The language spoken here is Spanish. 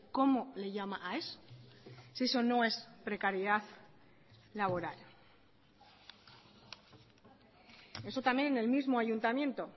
cómo le llama a eso si eso no es precariedad laboral eso también en el mismo ayuntamiento